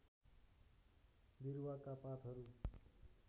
विरुवाका पातहरू